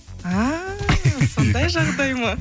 а сондай жағдай ма